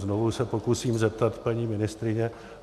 Znovu se pokusím zeptat paní ministryně.